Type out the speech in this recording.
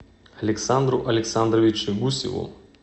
александру александровичу гусеву